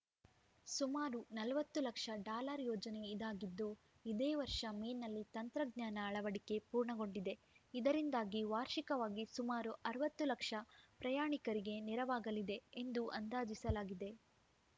ಸುಮಾರು ನಲವತ್ತು ಲಕ್ಷ ಡಾಲರ್‌ ಯೋಜನೆ ಇದಾಗಿದ್ದು ಇದೇ ವರ್ಷ ಮೇನಲ್ಲಿ ತಂತ್ರಜ್ಞಾನ ಅಳವಡಿಕೆ ಪೂರ್ಣಗೊಂಡಿದೆ ಇದರಿಂದಾಗಿ ವಾರ್ಷಿಕವಾಗಿ ಸುಮಾರು ಅರವತ್ತು ಲಕ್ಷ ಪ್ರಯಾಣಿಕರಿಗೆ ನೆರವಾಗಲಿದೆ ಎಂದು ಅಂದಾಜಿಸಲಾಗಿದೆ